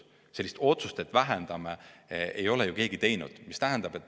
Sellist otsust, et vähendame, ei ole ju keegi teinud.